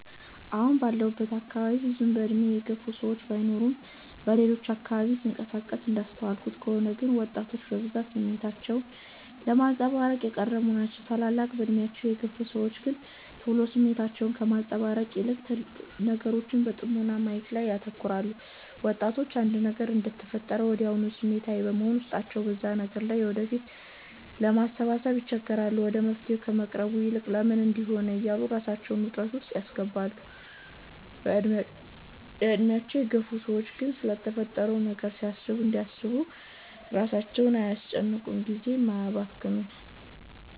አሁን ባለሁበት አካባቢ ብዙም በእድሜ የገፉ ሰዎች ባይኖርም በሌሎች አካባቢዎች ስንቀሳቀስ እንዳስተዋልኩት ከሆነ ግን ወጣቶች በብዛት ስሜታቸውን ለማንፀባረቅ የቀረቡ ናቸው። ታላላቅ በእድሜያቸው የግፍ ሰዎች ግን ቶሎ ስሜታቸውን ከማንፀባረቅ ይልቅ ነገሮችን በጥሞና ማየት ላይ ያተኩራሉ። ወጣቶች አንድ ነገር እንደተፈጠረ ወድያውኑ ስሜታዊ በመሆን ውስጣቸው በዛ ነገር ላይ ወደፊት ለማሰባሰብ ይቸገራሉ። ወደ መፍትሔ ከመቅረቡ ይልቅ "ለምን እንድህ ሆነ" እያሉ ራሳቸውን ውጥረት ውስጥ ሲያስገቡ፤ በእድሜያቸው የገፉ ሰዎች ግን ስለተፈጠረው ነገር እያሰቡ ራሳቸውን አያጨናንቁም ጊዜም አያባክኑም።